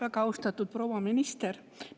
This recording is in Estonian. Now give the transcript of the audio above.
Väga austatud proua minister!